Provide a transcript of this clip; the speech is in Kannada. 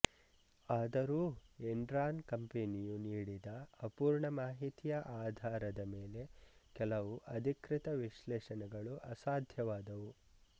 ಆದರೂ ಎನ್ರಾನ್ ಕಂಪನಿಯು ನೀಡಿದ ಅಪೂರ್ಣ ಮಾಹಿತಿಯ ಆಧಾರದ ಮೇಲೆ ಕೆಲವು ಅಧಿಕೃತ ವಿಶ್ಲೇಷಣೆಗಳು ಅಸಾಧ್ಯವಾದವು